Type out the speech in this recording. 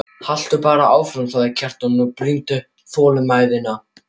Haltu bara áfram, sagði Kjartan og brýndi þolinmæðina.